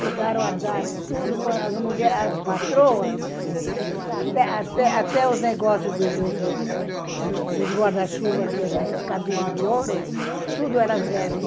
Chegaram a dar tudo, as mulher as patroas, até até até os negócios do do do dos guarda-chuva, que eram cabinhos de ouro, tudo elas deram.